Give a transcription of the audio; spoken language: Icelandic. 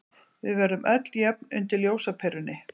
Við verðum öll jöfn undir ljósaperunni.